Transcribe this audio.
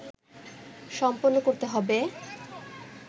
সম্পন্ন করতে হবে